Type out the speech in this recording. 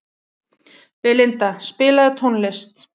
Belinda, spilaðu tónlist.